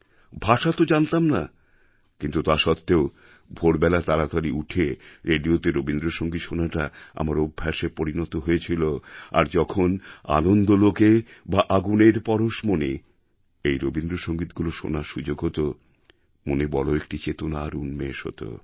ভাষা তো জানতাম না কিন্তু তা সত্ত্বেও ভোরবেলা তাড়াতাড়ি উঠে রেডিওতে রবীন্দ্রসঙ্গীত শোনাটা আমার অভ্যাসে পরিণত হয়েছিল আর যখন আনন্দ লোকে বা আগুনের পরশমণি এই রবীন্দ্রসঙ্গীতগুলি শোনার সুযোগ হত মনে বড় একটি চেতনার উন্মেষ হত